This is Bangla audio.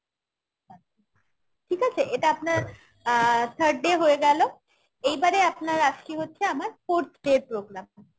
ঠিক আছে? এটা আপনার অ্যাঁ third day হয়ে গেলো এইবারে আপনার আসছে হচ্ছে আমার fourth day র programme